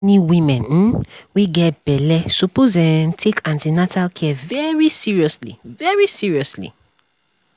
any women um wey get belle suppose um take an ten atal care very seriously very seriously